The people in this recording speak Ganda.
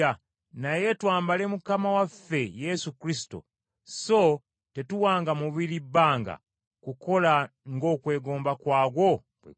naye twambale Mukama waffe Yesu Kristo so tetuwanga mubiri bbanga kukola ng’okwegomba kwagwo bwe kuli.